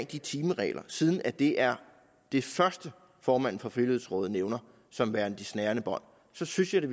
de timeregler siden det er det første formanden for frivilligrådet nævner som værende de snærende bånd så synes jeg da